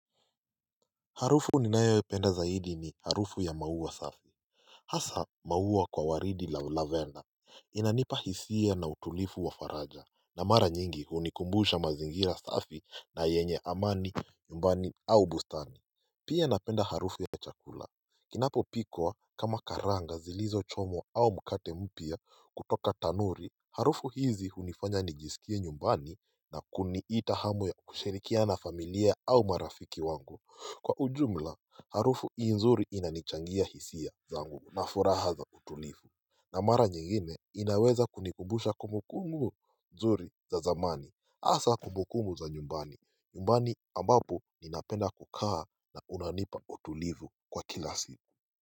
Harufu ninayoipenda zaidi ni harufu ya mauwa safi Hasa mauwa kwa waridi la lavena Inanipa hisia na utulifu wa faraja na mara nyingi hunikumbusha mazingira safi na yenye amani nyumbani au bustani Pia napenda harufu ya chakula kinapopikwa kama karanga zilizochomwa au mkate mpya kutoka tanuri Harufu hizi hunifanya nijisikie nyumbani na kuniita hamu ya kushirikia na familia au marafiki wangu Kwa ujumla harufu hii nzuri inanichangia hisia zangu na furaha za tulivu na mara nyingine inaweza kunikumbusha kumbukumu nzuri za zamani hasa kumbukumu za nyumbani nyumbani ambapo ninapenda kukaa na unanipa utulivu kwa kila siku.